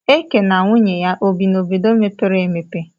Eke na nwunye ya obi n'obodo mepere emepe